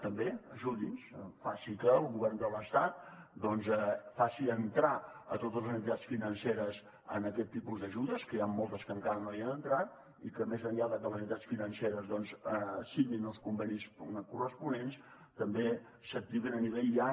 també ajudi’ns faci que el govern de l’estat faci entrar totes les entitats financeres en aquest tipus d’ajudes que n’hi han moltes que encara no hi han entrat i que més enllà de que les entitats financeres signin els convenis corresponents també s’activin a nivell ja